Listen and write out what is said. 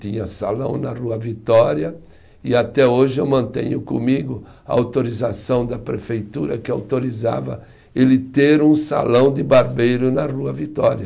Tinha salão na Rua Vitória e até hoje eu mantenho comigo a autorização da prefeitura que autorizava ele ter um salão de barbeiro na Rua Vitória.